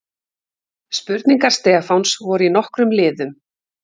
Spurningar Stefáns voru í nokkrum liðum.